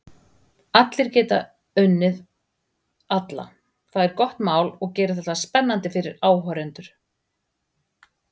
Allir geta unnið alla, það er gott mál og gerir þetta spennandi fyrir áhorfendur.